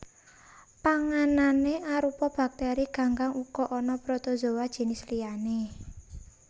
Panganané arupa baktèri ganggang uga ana protozoa jinis liyané